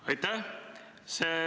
Aitäh!